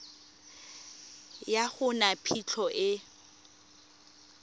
ga go na phitlho e